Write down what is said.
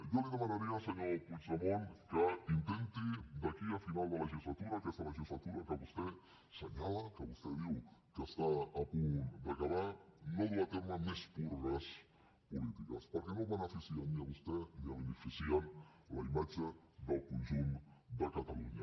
jo li demanaria senyor puigdemont que intenti d’aquí al final de legislatura aquesta legislatura que vostè assenyala que vostè diu que està a punt d’acabar no dur a terme més purgues polítiques perquè no el beneficien ni a vostè ni beneficien la imatge del conjunt de catalunya